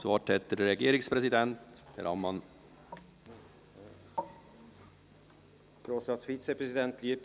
Das Wort hat der Regierungspräsident, Herr Ammann, bitte.